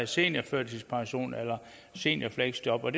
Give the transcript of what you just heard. seniorførtidspension eller seniorfleksjob og